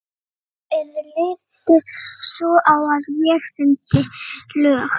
Fremur yrði litið svo á að ég sýndi lög